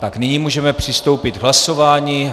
Tak, nyní můžeme přistoupit k hlasování.